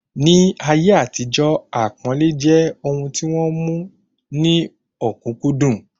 Ni ayé àtijó, àpọ́nlẹ́ jẹ́ ohun tí wọ́n mú ní ọ̀kúnkúndùn